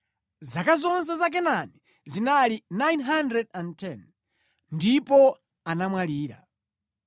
Zaka zonse za Kenani zinali 910, ndipo anamwalira.